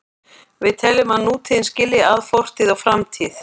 Við teljum að nútíðin skilji að fortíð og framtíð.